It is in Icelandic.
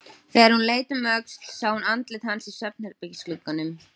Þegar hún leit um öxl sá hún andlit hans í svefnherbergisglugganum.